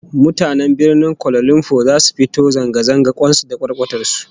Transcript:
Mutanen Birnin Kuala Lumpur zasu fito zanga zanga kwan su da kwarkwatar su